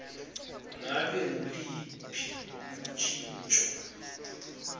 ngabe nguluphi luntjintjo